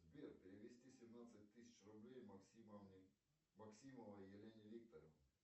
сбер перевести семнадцать тысяч рублей максимовне максимовой елене викторовне